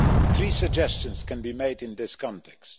Three suggestions can be made in this context.